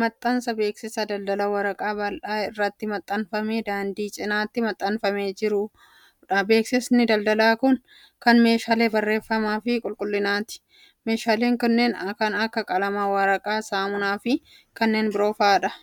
maxxansa beeksisaa daldalaa waraqaa bal'aa irratti maxxanfamee daandii cinaatti maxxanfamee jiruu dha. Beeksisni daldalaa kun, kan meeshaalee barreeffamaa fi qulqullinaati. Meeshaaleen kunneen kan akka qalamaa, waraqaa saamunaa fi kanneen biroo faa dha?